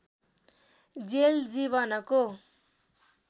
jail जीवनको